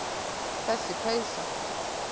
Þessi peysa!